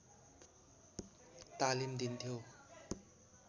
तालिम दिन्थ्यो